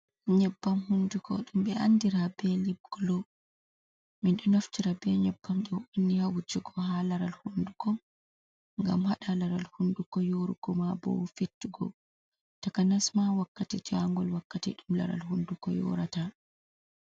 Nyebbam hunduko ɗum ɓe andira be lib gulo, min ɗo naftira be nyebbam ɗo onni ha wujugo ha laral hunduko ngam haɗa laral hunduko yoorugo, maa bo fettugo, takanas ma wakkati jaangol, wakkati ɗum laral hunduko yoorata.